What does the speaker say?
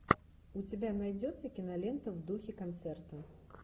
у тебя найдется кинолента в духе концерта